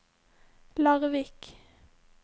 Larvik